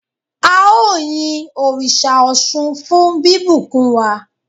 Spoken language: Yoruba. ao yin òrìṣà Òsun fún bibùkún wa